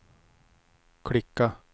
klicka